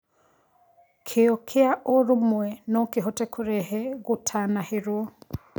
Kĩo kĩa ũrũmwe nokĩhote kũrehe gũtanahĩrwo